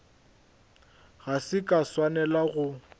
ga se ka swanela go